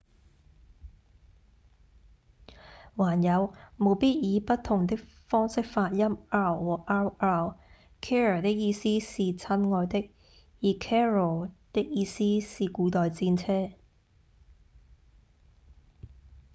還有務必以不同的方式發音 r 和 rr：care 的意思是親愛的而 carro 的意思是古代戰車